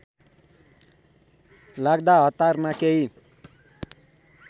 लाग्दा हतारमा केही